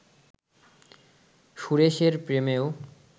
সুরেশের প্রেমও